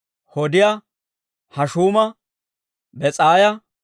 Hodiyaa, Hashuuma, Bes'aaya,